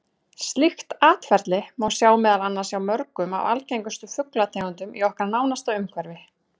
Slíkt atferli má sjá meðal annars hjá mörgum af algengustu fuglategundunum í okkar nánasta umhverfi.